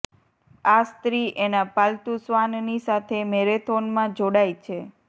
આ સ્ત્રી એનાં પાલતુ શ્વાનની સાથે મેરેથોનમાં જોડાઈ છે